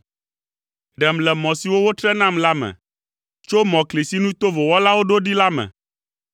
Ɖem le mɔ siwo wotre nam la me, tso mɔkli si nu tovo wɔlawo ɖo ɖi la me.